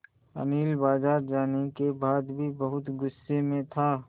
अनिल बाज़ार जाने के बाद भी बहुत गु़स्से में था